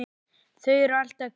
Þau eru alltaf hvít.